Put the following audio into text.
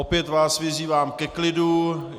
Opět vás vyzývám ke klidu.